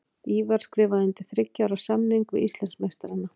Ívar skrifaði undir þriggja ára samning við Íslandsmeistarana.